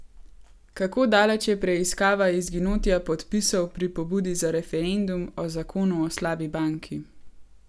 Kako daleč je preiskava izginotja podpisov pri pobudi za referendum o zakonu o slabi banki?